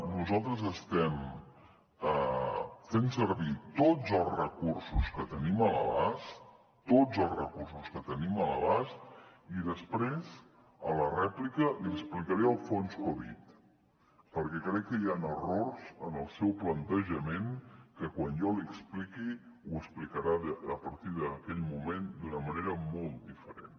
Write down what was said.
nosaltres estem fent servir tots els recursos que tenim a l’abast tots els recursos que tenim a l’abast i després a la rèplica li explicaré el fons covid perquè crec que hi han errors en el seu plantejament que quan jo l’hi expliqui ho explicarà a partir d’aquell moment d’una manera molt diferent